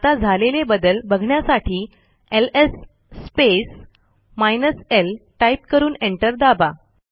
आता झालेले बदल बघण्यासाठी LS space hyphen L type करून एंटर दाबा